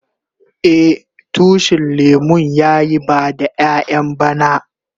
Eh, tushin lemun ya yi bada ƴayan bana.